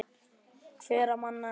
Hverra manna er Grýla?